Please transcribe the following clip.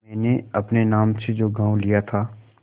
मैंने अपने नाम से जो गॉँव लिया था